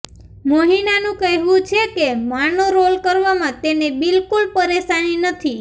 મોહિનાનું કહેવું છે કે માનો રોલ કરવામાં તેને બિલકુલ પરેશાની નથી